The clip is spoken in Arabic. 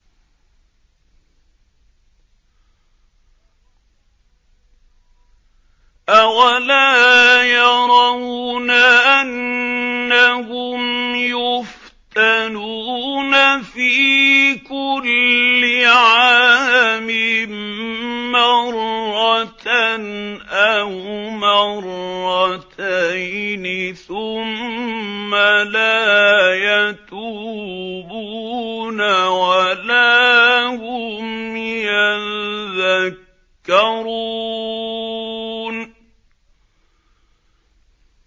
أَوَلَا يَرَوْنَ أَنَّهُمْ يُفْتَنُونَ فِي كُلِّ عَامٍ مَّرَّةً أَوْ مَرَّتَيْنِ ثُمَّ لَا يَتُوبُونَ وَلَا هُمْ يَذَّكَّرُونَ